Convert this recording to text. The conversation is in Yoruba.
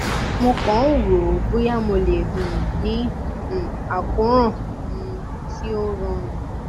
mo kàn ń rò ó bóyá mo lè um ní um àkóràn um tí ó rọrùn